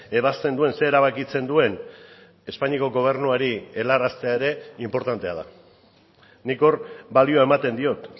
ebazten duen zer erabakitzen duen espainiako gobernuari helaraztea ere inportantea da nik hor balioa ematen diot